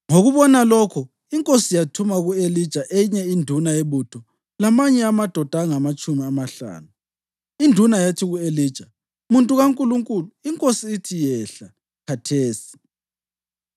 Ngokubona lokho inkosi yathuma ku-Elija eyinye induna yebutho lamanye amadoda angamatshumi amahlanu. Induna yathi ku-Elija, “Muntu kaNkulunkulu, inkosi ithi, ‘Yehla khathesi.’ ”